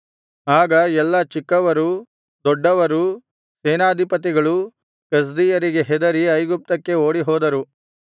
ಆಗ ಎಲ್ಲಾ ಚಿಕ್ಕವರೂ ದೊಡ್ಡವರೂ ಸೇನಾಧಿಪತಿಗಳೂ ಕಸ್ದೀಯರಿಗೆ ಹೆದರಿ ಐಗುಪ್ತಕ್ಕೆ ಓಡಿಹೋದರು